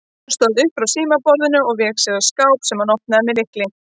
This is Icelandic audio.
Hann stóð upp frá símaborðinu og vék sér að skáp sem hann opnaði með lykli.